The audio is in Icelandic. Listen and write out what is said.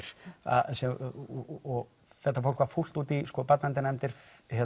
og þetta fólk var fúlt út í barnaverndarnefndir